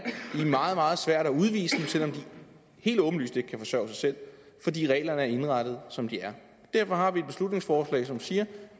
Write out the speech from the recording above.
meget meget svært at udvise dem selv om de helt åbenlyst ikke kan forsørge sig selv fordi reglerne er indrettet som de er derfor har vi et beslutningsforslag som siger